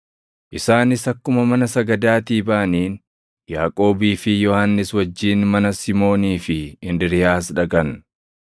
Isaanis akkuma mana sagadaatii baʼaniin Yaaqoobii fi Yohannis wajjin mana Simoonii fi Indiriiyaas dhaqan.